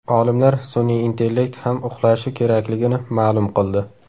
Olimlar sun’iy intellekt ham uxlashi kerakligini ma’lum qildi.